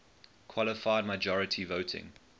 qualified majority voting